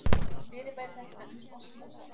Fyrirbæri þetta nefnist osmósa.